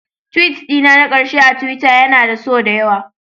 Tweet dina na ƙarshe akan Twitter yana da so da yawa